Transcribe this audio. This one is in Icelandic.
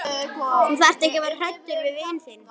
Þú þarft ekki að vera hræddur við vin þinn.